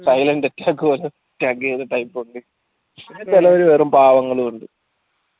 silent attack വരും type ഉണ്ട് ചെലവര് വെറും പാവങ്ങളു ഉണ്ട്